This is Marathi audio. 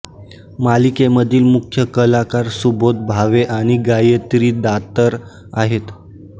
मालिकेमधील मुख्य कलाकार सुबोध भावे आणि गायत्री दातार आहेत